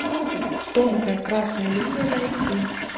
тонкая красная линия найти